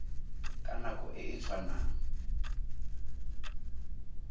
ka nako e e tshwanang